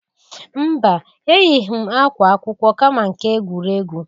Mba! Eyịghi m akwa akwụkwọ, kama nke egwuregwu.